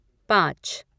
पाँच